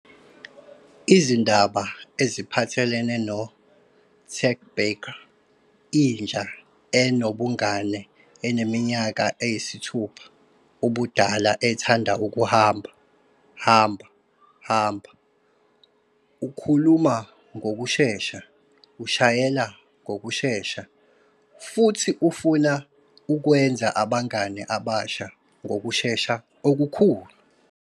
Izindaba ziphathelene no-Tag Barker, inja enobungani eneminyaka eyisithupha ubudala ethanda ukuhamba, hamba, hamba. Ukhuluma ngokushesha, ushayela ngokushesha, futhi ufuna ukwenza abangane abasha ngokushesha okukhulu.